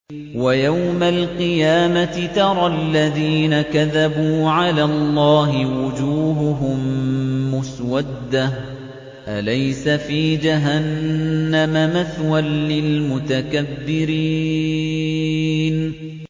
وَيَوْمَ الْقِيَامَةِ تَرَى الَّذِينَ كَذَبُوا عَلَى اللَّهِ وُجُوهُهُم مُّسْوَدَّةٌ ۚ أَلَيْسَ فِي جَهَنَّمَ مَثْوًى لِّلْمُتَكَبِّرِينَ